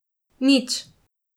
Nič.